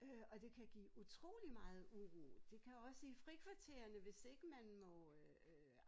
Øh og det kan give utrolig meget uro det kan også i frikvarterne hvis ikke man må øh øh